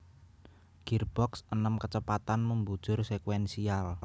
Girboks enem kecepatan membujur sekuensial